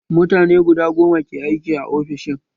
Mutane guda goma ke aiki a ofishin